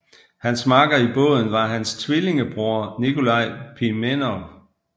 Hans makker i båden var hans tvillingebror Nikolaj Pimenov